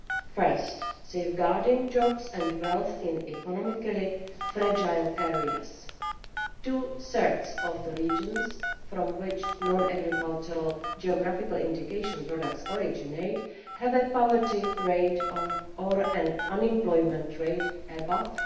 First, safeguarding jobs and wealth in economically fragile areas two thirds of the regions from which non agricultural geographical indication products originate have a poverty rate or an unemployment rate above